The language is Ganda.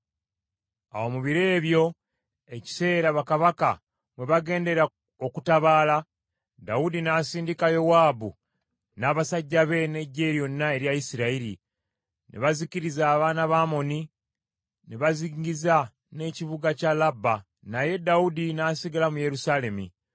Awo mu biro ebyo, ekiseera bakabaka mwe bagendera okutabaala, Dawudi n’asindika Yowaabu n’abasajja be n’eggye lyonna erya Isirayiri. Ne bazikiriza abaana ba Amoni ne bazingiza n’ekibuga kya Labba. Naye Dawudi n’asigala mu Yerusaalemi.